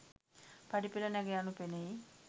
පඩිපෙළ නැග යනු පෙනෙයි.